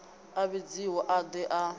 a vhidziwe a de a